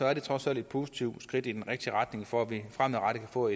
er det trods alt et positivt skridt i den rigtige retning for at vi fremadrettet kan få